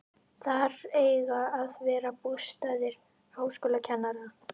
Þar eiga að verða bústaðir háskólakennara.